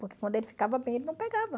Porque quando ele ficava bem, ele não pegava.